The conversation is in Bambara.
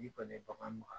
N'i kɔni ye bagan mara